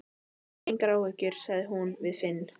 Hafðu engar áhyggjur, sagði hún við Finn.